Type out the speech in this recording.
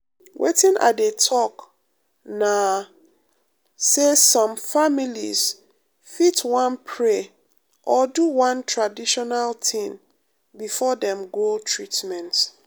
wetin i dey talk na um say some families fit wan pray or do one traditional um thing um before dem go treatment.